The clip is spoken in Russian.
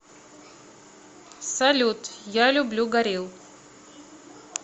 салют я люблю горилл